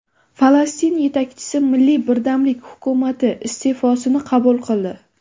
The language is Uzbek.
Falastin yetakchisi milliy birdamlik hukumati iste’fosini qabul qildi.